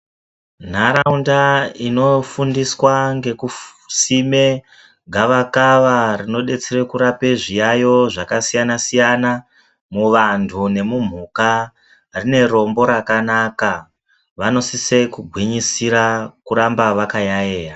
Nharaunda inofundiswa ngekusime gavakava rinodetsere kurape zviyayo zvakasiyanasiyana muvantu nemumhuka rine rombo rakanaka vanosise kugwinyisira kuramba vakayayeya.